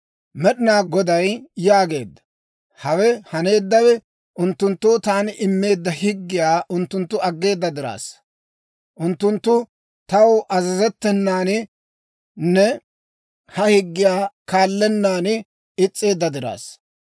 Med'inaa Goday yaageedda; «Hawe haneeddawe, unttunttoo taani immeedda higgiyaa unttunttu aggeeda diraassa. Unttunttu taw azazettenaaninne ha higgiyaa kaallennaan is's'eedda diraassa.